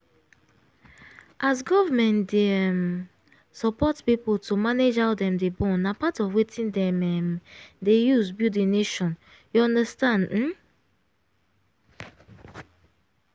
as govt dey um support people to manage how dem dey born na part of wetin dem um dey use build the nation you understand? um